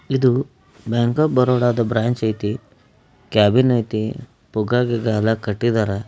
ಇದು bank of ಬರೋಡದ branch ಐತಿ ಕ್ಯಾಬಿನ್ ಐತಿ ಪುಗ್ಗ ಗಿಗ್ಗ ಎಲ್ಲಾ ಕಟ್ಟಿದಾರ.